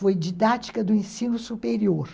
Foi didática do ensino superior.